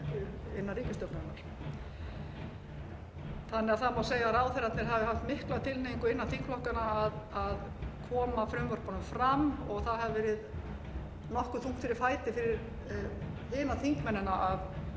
þannig að það má segja að ráðherrarnir hafi haft mikla tilhneigingu innan þingflokkanna að koma frumvörpunum fram og það hefði verið nokkuð þungt fyrir fæti fyrir hina þingmennina að stöðva